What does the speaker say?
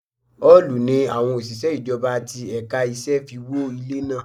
Òòlù ni àwọn òṣìṣẹ́ ìjọba ti ẹ̀ka iṣẹ́ fi wó ilé náà.